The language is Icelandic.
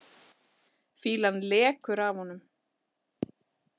Fýlan lekur af honum.